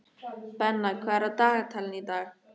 Benna, hvað er á dagatalinu í dag?